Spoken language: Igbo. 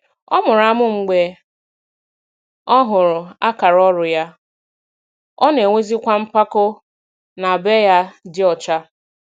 Ọ mụrụ amụ mgbe ọ hụrụ akara ọrụ ya, ọ na-enwezikwa mpako na be ya dị ọcha.